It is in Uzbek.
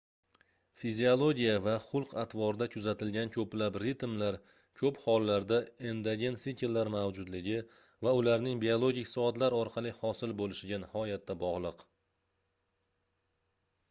fiziologiya va xulq-atvorda kuzatilgan koʻplab ritmlar koʻp hollarda endogen sikllar mavjudligi va ularning biologik soatlar orqali hosil boʻlishiga nihoyatda bogʻliq